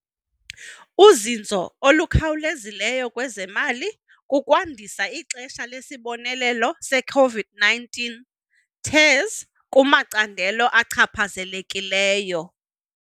uzinzo olukhawulezileyo kwezemali kukwandisa ixesha lesibonelelo se-COVID-19 TERS kumacandelo achaphazelekileyo.